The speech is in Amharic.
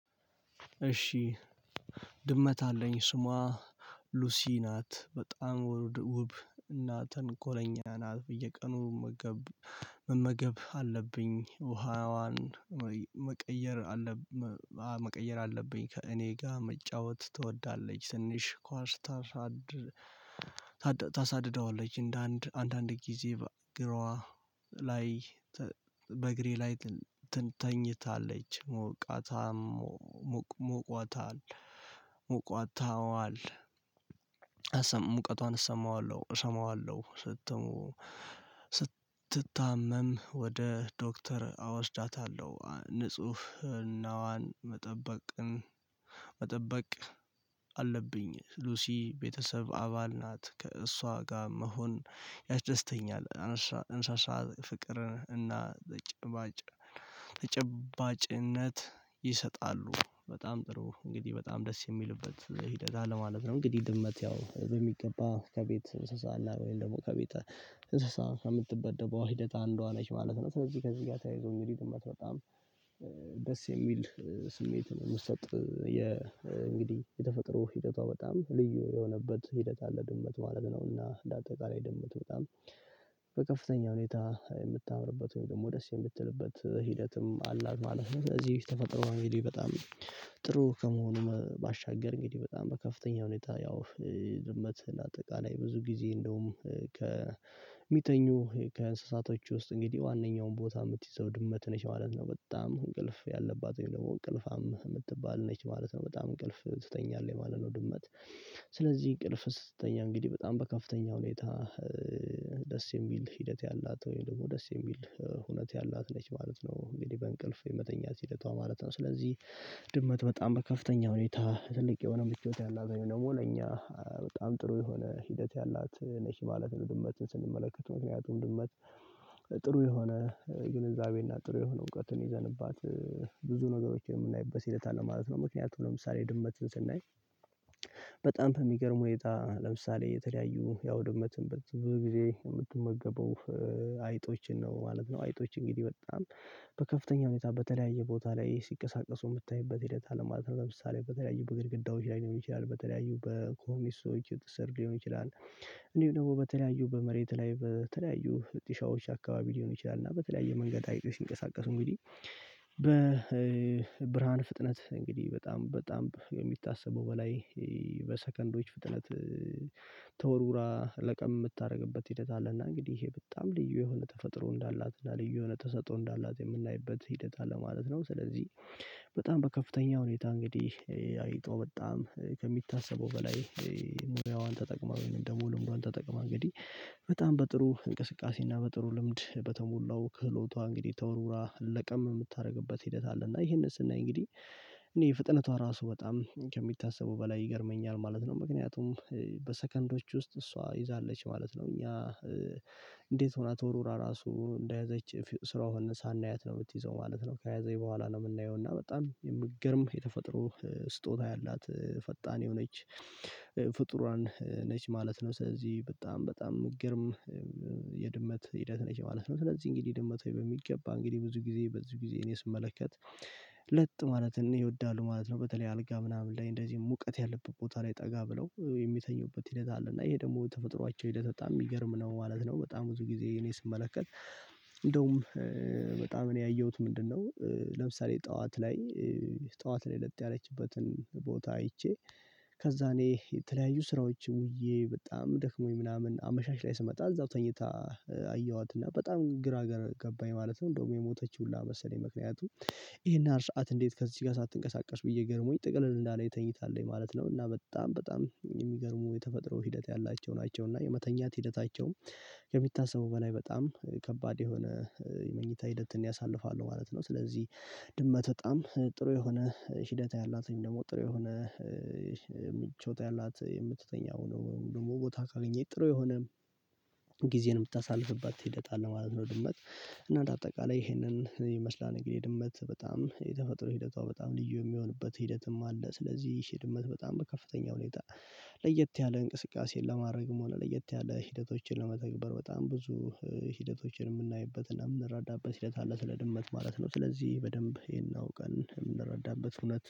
እሺ። ድመት አለኝ ስሟ ሉሲ ናት በጣም ውብ እና ተንኮለኛ ናት። በየቀኑ መመገብ አለብኝ ውሃዋን መቀየር አለብኝ መቀየር አለብኝ። ከእኔ ጋር መጫወት ትወዳለች ትንሽ ኳስ። ታሳድደዋለች እንደ አንድ አንድ አንድ ጊዜ ግሯ ላይ በእግሬ ላይ ትተኛታለች ሞቃታም ሞቋታል ሞቋታዋል ሙቀቷን እሰማዋለሁ እሰማዋለሁ ስትሞ ስትታመም ወደ ዶክተር አወስዳታለሁ። ንጹህ እናዋን መጠበቅን መጠበቅ አለብኝ ሉሲ ቤተሰብ አባል ናት ከእሷ ጋር መሆን ያስደስተኛል። አነሳሳ ፍቅርን እና ጭባጭ ተጭባጭነት ይሰጣሉ በጣም ጥሩ እንግዲህ በጣም ደስ የሚልበት ሂደት አለማለት ነው። እንግዲህ ድመት ያው በሚገባ ከቤት ስሳላ ወይም ደግሞ ከቤት እንስሳ ከምትበደበው ሂደታ እንደዋ ነች ማለት ነው። ስለዚህ ከዚህ ጋር ተያይዞኝ ሊድመት በጣም ደስ የሚል ስሜት ነው። የምትሰጥ እንግዲህ የተፈጥሮ ሂደቷ በጣም ልዩ የሆነበት ሂደት አለ። ድመት ማለት ነውና ለአጠቃላይ ድመት በጣም በከፍተኛ ሁኔታ የምታምርበት ወይም ደስ የምትልበት ሂደትም አላልም። እዚህ ተፈጥሮ በጣም ጥሩ ከመሆኑ ባሻገር እንግዲህ በጣም በከፍተኛ ሁኔታ ያው ድመት አጠቃላይ ብዙ ጊዜ እንደውም ከሚተኙ ከእንስሳቶች ውስጥ እንግዲህ ዋናውን ቦታ የምትይዘው ድመት ነች ማለት ነው። በጣም እንቅልፍ ያለባት ደግሞ እንቅልፋም የምትባል ነች ማለት ነው በጣም እንቅልፍ ትተኛለህ ማለት ነው። ድመት ስለዚህ እንቅልፍ ስተኛ እንግዲህ በጣም በከፍተኛ ሁኔታ ደስ የሚል ሂደት ያላት ወይም ደግሞ ደስ የሚል እውነት ያላት ነች ማለት ነው። እንግዲህ በእንቅልፍ የመተኛት ሲለቷ ማለት ነው ስለዚህ ድመት በጣም በከፍተኛ ሁኔታ ትልቅ የሆነ ምቾት ያላት ደግሞ ለኛ በጣም ጥሩ የሆነ ሂደት ያላት ነሽ ማለት ነው። ድመትን ስንመለከተው ምክንያቱም ድመት ጥሩ የሆነ ግንዛቤና ጥሩ የሆነ እውቀትን ይዘንባት ብዙ ነገሮችን የምናይበት ሂደት አለ ማለት ነው። ምክንያቱም ለምሳሌ ድመት ስናይ በጣም በሚገርም ሁነታ ለምሳሌ የተለያዩ ያው ድመትም በት ብዙ ጊዜ የምትመገበው አይጦችን ነው ማለት ነው። አይጦች እንግዲህ በጣም በከፍተኛ ሁኔታ በተለያየ ቦታ ላይ ሲቀሳቀሱ የምታይበት ሂደት አለማለት ለምሳሌ በተለያዩ በግድግዳዎች ላይ ሊሆን ይችላል በተለያዩ በኮሚስቶች ውጤት ሊሆን ይችላል። እንዲሁ ደግሞ በተለያዩ በመሬት ላይ በተለያዩ ልጢሻዎች አካባቢ ሊሆን ይችላል እና በተለያየ መንገድ አይጤ ሲንቀሳቀሱ እንግዲህ በ በብርሃን ፍጥነት እንግዲህ በጣም በጣም የሚታሰበው በላይ በሰከንዶች ፍጥነት ተወርውራ ለቀም የምታደርግበት ሂደት አለና። እንግዲህ ይሄ በጣም ልዩ የሆነ ተፈጥሮ እንዳላትና እና ልዩ የሆነ ተሰጦ እንዳላት የምናይበት ሂደት አለ ማለት ነው። ስለዚህ በጣም በከፍተኛ ሁኔታ እንግዲህ አይጦ በጣም ከሚታሰበው በላይ ሙሪያዋን ተጠቅመው ደግሞ ልምዱን ተጠቅመው እንግዲህ በጣም በጥሩ እንቅስቃሴ እና በጥሩ ልምድ በተሞላው ክህሎቷ እንግዲህ ተወርውራ ለቀም የምታደርግበት ሂደት አለ። እና ይሄንን ስናይ እንግዲህ እኔ የፍጥነቷ ራሱ በጣም ከሚታሰቡ በላይ ይገርመኛል ማለት ነው። ምክንያቱም በሰከንዶች ውስጥ እሷ ይዛለች ማለት ነው። እኛ እንዴት ሆና ተወራራ ራሱ እንደያዘች ስራውን ሳናያት ነው የምትይዘው ማለት ነው። ከያዘኝ በኋላ ነው የምናየው እና በጣም የምትገርም የተፈጥሮ ስጦታ ያላት ፈጣን የሆነች ፍጡራን ነች ማለት ነው። ስለዚህ በጣም በጣም ግርም የድመት ሂደት ነች ማለት ነው። ስለዚህ እንግዲህ ድመት ወይ በሚገባ እንግዲህ ብዙ ጊዜ ብዙ ጊዜ እኔ ስመለከት ለጥ ማለት ነው ይወዳሉ ማለት ነው። በተለይ አልጋ ምናምን ላይ እንደዚህ ሙቀት ያለበት ቦታ ላይ ጠጋ ብለው የሚተኙበት ሂደት አለ እና ይሄ ደግሞ ተፈጥሯቸው ሂደት በጣም የሚገርም ነው ማለት ነው። በጣም ብዙ ጊዜ እኔ ስመለከት እንደውም በጣም እኔ ያየሁት ምንድነው? ለምሳሌ ጠዋት ላይ ጠዋት ላይ ለት ያለችበትን ቦታ አይቼ ከዛ እኔ የተለያዩ ስራዎች ውዬ በጣም ደክሞኝ ምናምን አመሻሽ ላይ ስመጣ እዛው ተኝታ አየኋት እና በጣም ግራ ገባኝ ማለት ነው። እንደውም የሞተችው ሁላ መሰለኝ ምክንያቱ ይሄን አርሻአት እንዴት ከዚህ ጋር ሳትንቀሳቀስ ብዬ ገረሞኝ ጥቅልን እንዳለ የተኝታለኝ ማለት ነው። እና በጣም በጣም የሚገርሙ የተፈጥሮ ሂደት ያላቸው ናቸው። እና የመተኛት ሂደታቸውም ከሚታሰቡ በላይ በጣም ከባድ የሆነ የመኝታ ሂደትን ያሳልፋሉ ማለት ነው። ስለዚህ ድመት በጣም ጥሩ የሆነ ሂደት ያላትን ደግሞ ጥሩ የሆነ ምቾት ያላት የምትተኛው ነው ወይም ደግሞ ቦታ ካገኘኝ ጥሩ የሆነ ጊዜን የምታሳልፍበት ሂደት አለ ማለት ነው። ድመት እና በአጠቃላይ ይሄንን ይመስላል እንግዲህ ድመት በጣም የተፈጥሮ ሂደቷ በጣም ልዩ የሚሆንበት ሂደትም አለ። ስለዚህ ይሄ ድመት በጣም በከፍተኛ ሁኔታ ለየት ያለ እንቅስቃሴን ለማድረግም ሆነ ለየት ያለ ሂደቶችን ለመተግበር በጣም ብዙ ሂደቶችን የምናይበት እና የምንረዳበት ሂደት አለ ስለ ድመት ማለት ነው። ስለዚህ በደንብ ይሄን አውቀን የምንረዳበት ሁለት